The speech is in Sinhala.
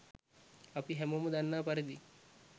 අපි හැමෝම දන්නා පරිදි